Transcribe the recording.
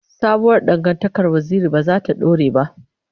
Sabuwar dangantakar Waziri ba za ta dore ba.